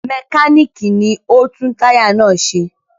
Mẹkáníkì ni ó ń tún táyà náà ṣe.